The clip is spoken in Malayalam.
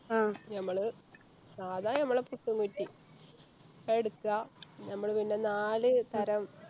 ആ ഞമ്മള് സാധാ ഞമ്മളെ പുട്ടും കുറ്റി അതെടുക്ക ഞമ്മള് പിന്നെ നാല് തരം